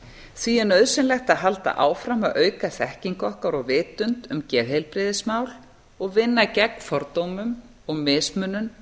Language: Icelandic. því er nauðsynlegt að halda áfram að auka þekkingu okkar og vitund um geðheilbrigðismál og vinna gegn fordómum og mismunun